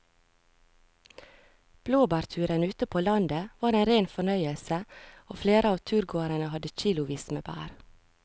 Blåbærturen ute på landet var en rein fornøyelse og flere av turgåerene hadde kilosvis med bær.